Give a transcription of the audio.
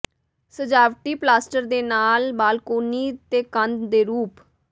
ਸਜਾਵਟੀ ਪਲਾਸਟਰ ਦੇ ਨਾਲ ਬਾਲਕੋਨੀ ਤੇ ਕੰਧ ਦੇ ਰੂਪ